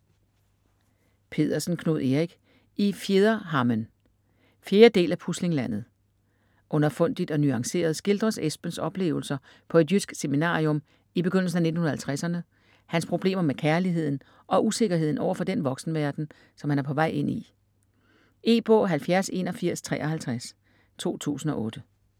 Pedersen, Knud Erik: I fjederhammen 4. del af Puslinglandet. Underfundigt og nuanceret skildres Esbens oplevelser på et jysk seminarium i begyndelsen af 1950'erne, hans problemer med kærligheden og usikkerheden overfor den voksenverden, som han er på vej ind i. E-bog 708153 2008.